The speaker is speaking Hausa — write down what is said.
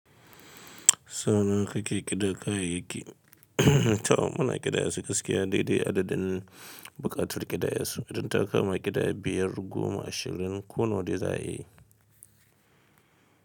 Sau nawa kake ƙida kayayyaki, to munna ƙidayasu gaskiya dai dai adadin buƙatar ƙidayasu, idan ta kama ƙidaya biyar, goma, ashirin ko nawa dai za a yi.